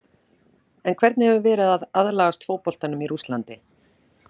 En hvernig hefur verið að aðlagast fótboltanum í Rússlandi?